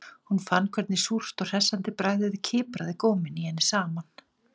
Hún fann hvernig súrt og hressandi bragðið kipraði góminn í henni saman